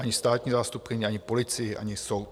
Ani státní zástupkyni, ani policii, ani soud.